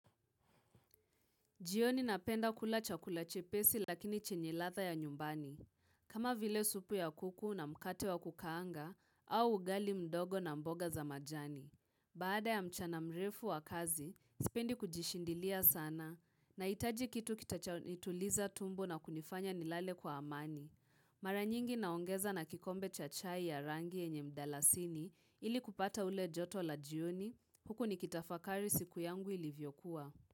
Jioni napenda kula chakula chepesi lakini chenye ladha ya nyumbani. Kama vile supu ya kuku na mkate wa kukaanga au ugali mdogo na mboga za majani. Baada ya mchana mrefu wa kazi, sipendi kujishindilia sana nahitaji kitu kitacho nituliza tumbo na kunifanya nilale kwa amani. Maranyingi naongeza na kikombe cha chai ya rangi yenye mdalasini ili kupata ule joto la jioni. Huku nikitafakari siku yangu ilivyokuwa.